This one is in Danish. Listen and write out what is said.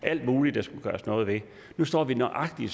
alt muligt der skulle gøres noget ved nu står vi i nøjagtig